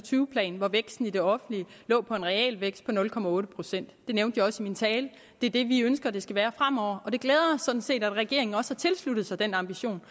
tyve plan hvor væksten i det offentlige lå på en realvækst på nul på nul procent det nævnte jeg også i min tale det er det vi ønsker det skal være fremover og det glæder os sådan set at regeringen også har tilsluttet sig den ambition